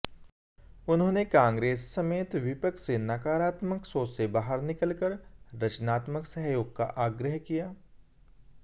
उन्होंने कांग्रेस समेत विपक्ष से नकारात्मक सोच से बाहर निकलकर रचनात्मक सहयोग का आग्रह किया